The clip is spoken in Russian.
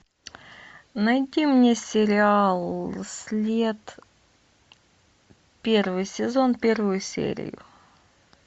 найди мне сериал след первый сезон первую серию